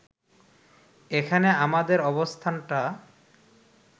এখানে আমাদের অবস্থানটা